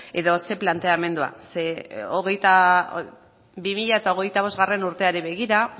edo zein planteamendua zeren bi mila hogeita bostgarrena urteari begira